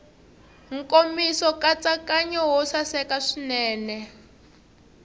nkomiso nkatsakanyo wo saseka swinene